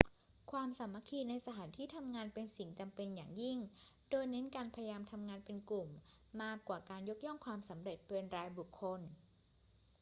ความสามัคคีในสถานที่ทำงานเป็นสิ่งจำเป็นอย่างยิ่ง โดยเน้นการพยายามทำงานเป็นกลุ่มมากกว่าการยกย่องความสำเร็จเป็นรายบุคคล